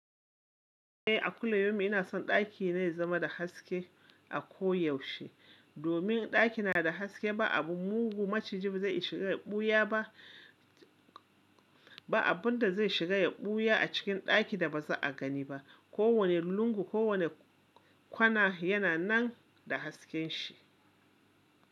Eh a kullu yaumin ina son ɗakina ya zama da haske a koyaushe. Domin in ɗakina da haske, ba abun mugu maciji ba zai shiga ya ɓuya ba. Ba abun da zai shiga ya ɓuya a cikin ɗakin da ba za a gani ba. Ko wane lungu, ko wane kwana yana nan da hasken shi.